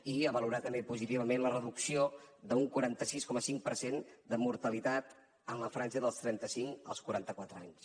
i valorar també positivament la reducció d’un quaranta sis coma cinc per cent de mortalitat en la franja dels trenta cinc als quaranta quatre anys